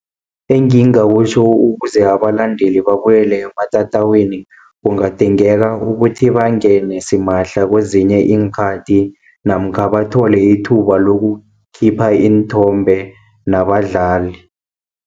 Engingakutjho ukuze abalandeli babuyele ematatawini, kungadingeka ukuthi bangene simahla kezinye iinkhathi namkha bathole ithuba lokukhipha iinthombe nabadlali.